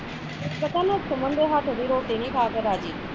ਪਤਾ ਨਾ ਸੁਮਨ ਦੇ ਹੱਥ ਦੀ ਰੋਟੀ ਨੀ ਖਾ ਕੇ ਰਾਜ਼ੀ